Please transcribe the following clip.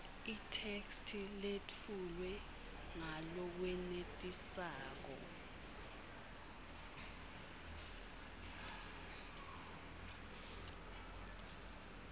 itheksthi letfulwe ngalokwenetisako